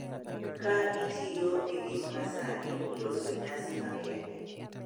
Ka itiyo gi gik ma sani, loso nyasi makende